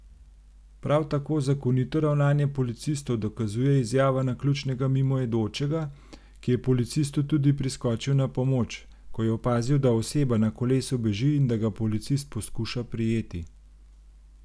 Prav tako zakonito ravnanje policistov dokazuje izjava naključnega mimoidočega, ki je policistu tudi priskočil na pomoč, ko je opazil, da oseba na kolesu beži in da ga policist poskuša prijeti.